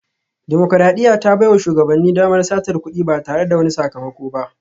Dimokuradiyya ta baiwa shugabanni damar satar kudi ba tare da wani sakamako ba